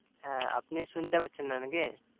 হ্যা আপনি শুনতে পরছেন না নাকি?